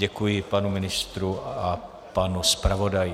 Děkuji panu ministrovi a panu zpravodaji.